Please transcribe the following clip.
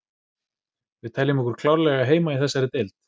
Við teljum okkur klárlega eiga heima í þessari deild.